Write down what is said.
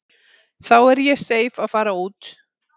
Þá er ég seif að fara út.